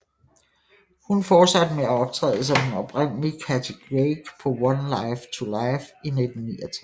Hun fortsatte med at optræde som den oprindelige Cathy Craig på One Life to Live i 1969